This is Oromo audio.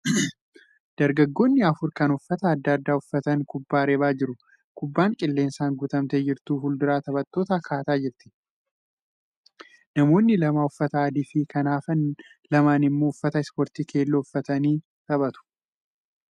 Dargaggoonni afur kan uffata adda addaa uffatan kubbaa reebaa jiru. Kubbaan qilleensaan guutamtee jirtu fuuldura taphattootaa kaataa jirti. Namoonni lama uffata adii fi kan hafan lamaan immoo uffata ispoortii keelloo uffatanii taphatu.